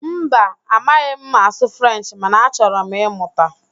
Mba, amaghị m asụ Frenchị mana achọrọ m ịmụta